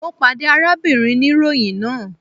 Mo pade arábìnrin niroyin náà